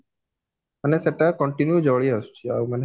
ମାନେ ସେଟା continue ଜଳି ଆସୁଚି ଆଉ ମାନେ ସେଟା